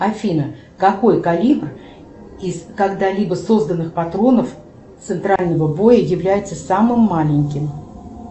афина какой калибр из когда либо созданных патронов центрального боя является самым маленьким